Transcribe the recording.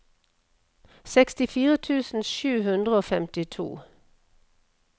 sekstifire tusen sju hundre og femtito